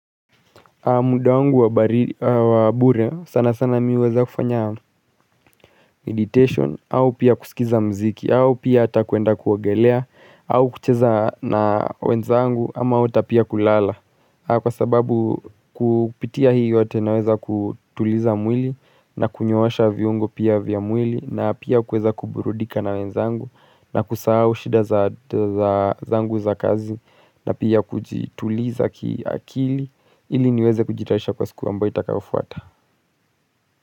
Muda wangu wa bure sana sana mi huweza kufanya meditation au pia kusikiza mziki au pia ata kuenda kuogelea au kucheza na wenzangu ama au hata pia kulala. Kwa sababu kupitia hiyo hata naweza kutuliza mwili na kunyoosha viungo pia vya mwili na pia kuweza kuburudika na wenzangu na kusahau shida za zangu za kazi na pia kujituliza kiakili ili niweze kujitarisha kwa siku ambayo itakayofuata.